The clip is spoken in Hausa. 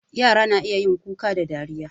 Yara suna Kuka da dariya